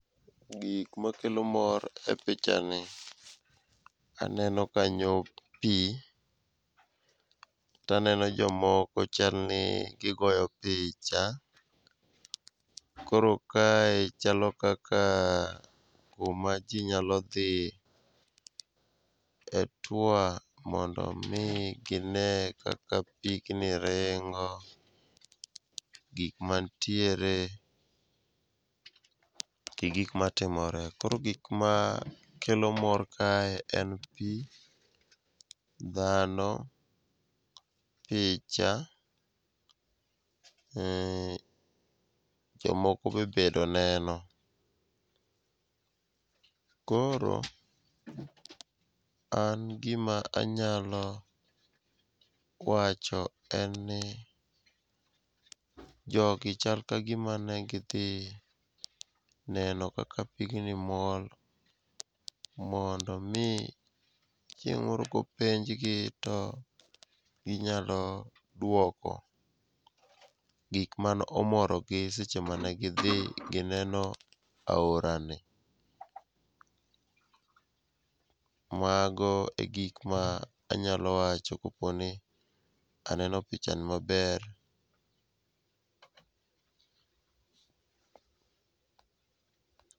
Gik makelo mor e pichani aneno kanyo pi taneno jomoko chalni gigo picha, koro kae chalo kaka kuma ji nyalo dhi e tour mondo omi gine kaka pigni ringo, gik mantiere gi gik matimore. Koro gik makelo mor kae en pi, dhano, picha ,jomoko be obedo neno. Koro an gima anyalo wacho en ni jogi chal ka gima ne gidhi neno kaka pigni mol mondo omi chieng' moro kopenjgi, to ginyalo dwoko gik mane omorogi seche mane gidhi gineno aorani. Mago e gik ma anyalo wacho koponi aneno pichani maber.